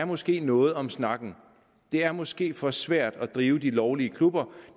måske er noget om snakken det er måske for svært at drive de lovlige klubber